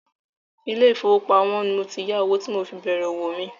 ilé ìfowópamọ́ ni mo ti yá owó tí mo fi bèrè òwò mi.